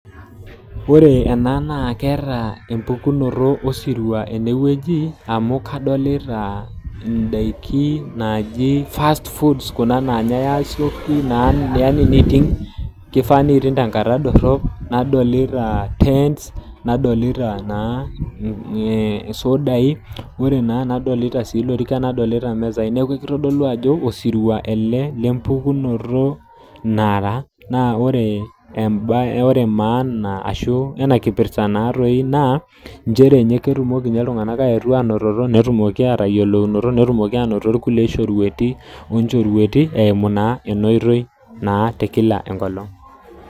Ore enaa naa keeta empukunoto osirua tenewueji amu kadolita ndaiki naaji fast foods kuna ndaiki naanyae asioki kefaa neiting tenkata dorrop nadolita tents nadolita naa isudai nadolita ilorikan nadolita naa imisai niaku keitodolu ajo osirua ele le mpukunoto nara naa ore maana ena kipirta naatoi naa nchere ketumoki ltunganak ayetu anototo ashu atayiolounoto netumoki ainoto nkulie shorueti eimu naa ena oitoi naa ee kila enkolong'.